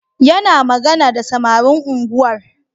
Yana magana da samarin unguwar